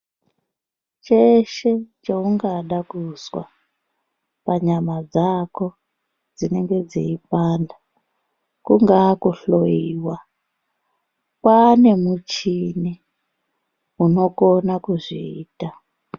Cheshe cheungada kuzwa panyama dzako dzinenge dzeipanda kungaa kuhloyiwa kwane muchini unokona kuzviita.